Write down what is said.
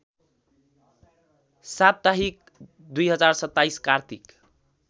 साप्ताहिक २०२७ कार्तिक